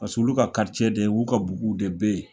Pas'olu ka de ,u ka bugu de bɛ ye